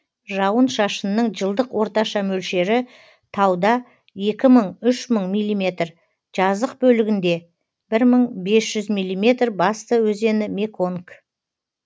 жауын шашынның жылдық орташа мөлшері тауда екі мың үш мың миллиметр жазық бөлігінде бір мың бес жүз миллиметр басты өзені меконг